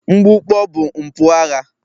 Mgbukpọ bụ mpụ agha